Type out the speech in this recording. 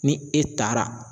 Ni e taara